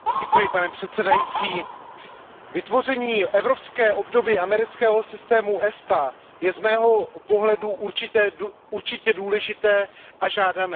Pane předsedající, vytvoření evropské obdoby amerického systému ESTA je z mého pohledu určitě důležité a žádané.